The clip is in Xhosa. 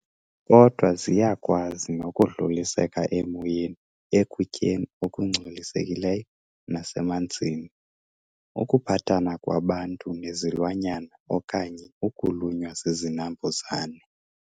Kodwa, ziyakwazi nokudluliseka emoyeni, ekutyeni okungculisekileyo nasemanzini, ukuphathana kwabantu nezilwanyana okanye ukulunywa zizinambuzane.